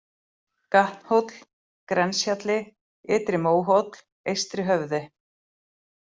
Gatnhóll, Grenshjalli, Ytri-Móhóll, Eystri-Höfði